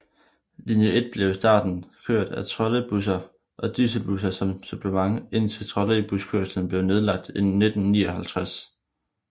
Linje 1 blev i starten kørt af trolleybusser og dieselbusser som supplement indtil trolleybuskørslen blev nedlagt i 1959